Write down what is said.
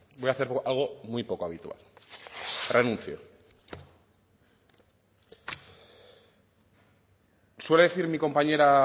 voy a hacer algo muy poco habitual renuncio rompe el papel de su discurso suele decir mi compañera